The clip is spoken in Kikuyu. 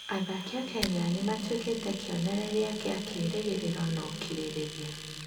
Athaki a Kenya nĩ matuĩkĩte kĩonereria kĩa kĩĩrĩgĩrĩro na ũkirĩrĩria.